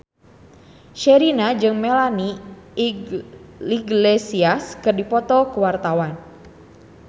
Sherina jeung Melanie Iglesias keur dipoto ku wartawan